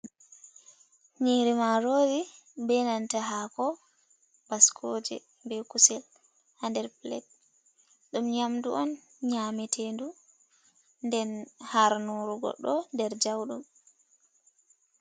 Nyiri marori be nanta haako baskoje be kusel ha nder pilet. Ɗum nyamdu on nyametedu nden harnoru goɗɗo der jauɗum.